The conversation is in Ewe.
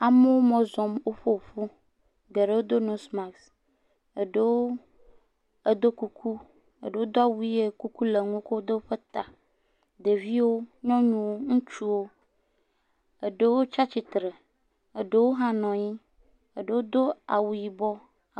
Amewo mɔ zɔm, woƒe ŋu, geɖewo do nosmas, eɖewo edo kuku, eɖewo do awu ʋe, kuku le ŋu wokɔ tsyɔ ta, ɖeviwo, nyɔnuwo, ŋutsuwo, eɖewo tsatsitre, eɖewo hã nɔ anyi, eɖewo do awu yibɔ.